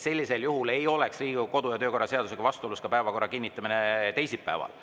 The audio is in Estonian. Sellisel juhul ei oleks Riigikogu kodu‑ ja töökorra seadusega vastuolus ka päevakorra kinnitamine teisipäeval.